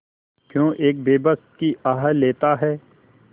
क्यों एक बेकस की आह लेता है